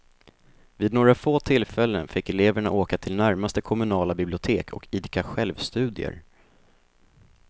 Vid några få tillfällen fick eleverna åka till närmaste kommunala bibliotek och idka självstudier.